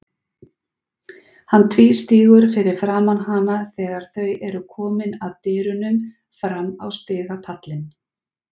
Hann tvístígur fyrir framan hana þegar þau eru komin að dyrunum fram á stigapallinn.